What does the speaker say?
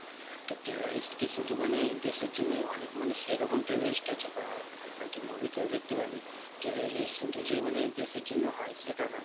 তো terrorist কি মানে শুধু দেশের জন্যই, অনেক মানুষ এরকম terrorist আছে বা আ~ আরকি movie তে ও দেখতে পাবি না। terrorist মানে যে শুধু দেশের জন্য হয় সেটা না.